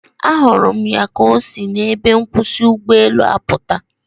A hụrụ m ya ka osi na ebe nkwusi ụgbọelu aputa